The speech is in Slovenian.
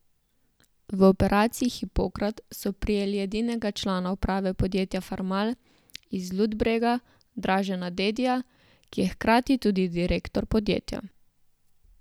V operaciji Hipokrat so prijeli edinega člana uprave podjetja Farmal iz Ludbrega, Dražena Dedija, ki je hkrati tudi direktor podjetja.